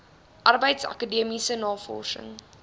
arbeids akademiese navorsings